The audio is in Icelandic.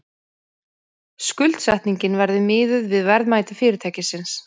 Skuldsetningin verði miðuð við verðmæti fyrirtækisins